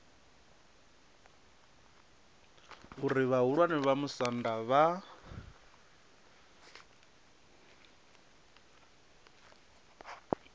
uri vhahulwane vha musanda vha